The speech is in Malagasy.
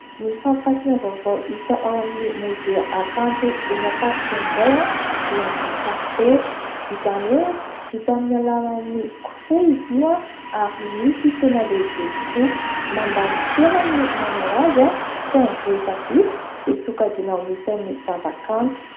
Ny fampirantiana vaovao hita ao amin'ny mozea Hakanto eny Ampasika indray dia ny karipetra. Izany hoe vita amin'ny alalany kofehy izy io ary misy tena lehibe tokoa. Mandany fotoana ny manao azy saingy rehefa vita dia sokajiana ho isan'ny zava-kanto.